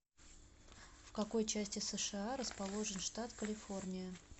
в какой части сша расположен штат калифорния